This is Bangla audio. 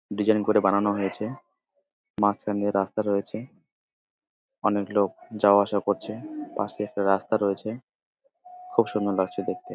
ডিজাইন করে বানানো হয়েছে মাঝখান দিয়ে রাস্তা রয়েছে অনেক লোক যাওয়া আসা করছে পাশে একটা রাস্তা রয়েছে খুব সুন্দর লাগছে দেখতে।